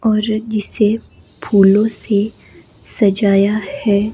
और जिसे फूलों से सजाया है।